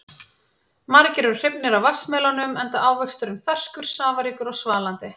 Margir eru hrifnir af vatnsmelónum enda ávöxturinn ferskur, safaríkur og svalandi.